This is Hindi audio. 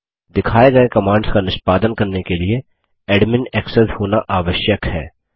दिखाए गये कमांड्स का निष्पादन करने के लिए एडमिन एक्सेस होना आवश्यक है